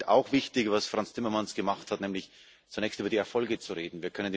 Ich finde auch wichtig, was Frans Timmermans gemacht hat, nämlich zunächst über die Erfolge zu reden.